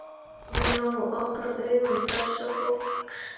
Hún á að opna augu þessa fólks.